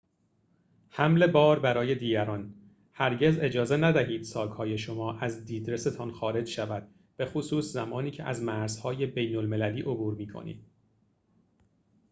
حمل بار برای دیگران هرگز اجازه ندهید ساک‌های شما از دیدرس‌تان خارج شود بخصوص زمانی که از مرزهای بین‌المللی عبور می‌کنید